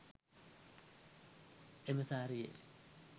එම සාරියේ